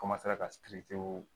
ka